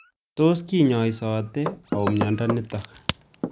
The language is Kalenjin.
Tos kinyaisaite ao miondo nitok